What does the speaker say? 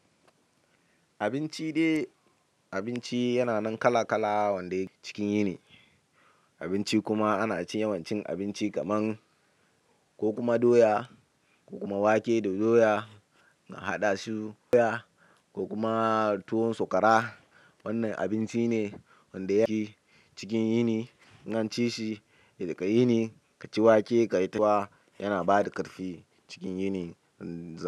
Abinci dai abinci yana nan kala kala wanda yake cikin yini. Abinci kuma ana ci yawancin abinci kaman ko kuma doya ko kuma wake da doya na haɗa su doya ko kuma tuwon sakwara. Wannan abinci ne wanda yake cikin yini. In an ci shi a yini, ka ci wake ka ci tuwa yana bada ƙarfi cikin yinin.